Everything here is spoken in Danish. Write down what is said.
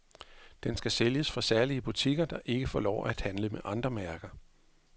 Den skal sælges fra særlige butikker, der ikke får lov at handle med andre mærker.